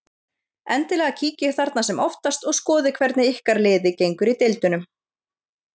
Endilega kíkið þarna sem oftast og skoðið hvernig ykkar liði gengur í deildunum.